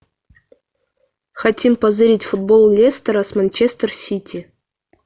хотим позырить футбол лестера с манчестер сити